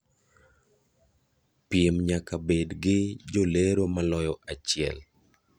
Piem nyaka bed gi jolero maloyo achiel.